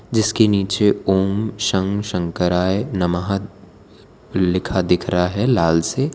जिसके नीचे ॐ शं शंकराय नमः लिखा दिख रहा है लाल से।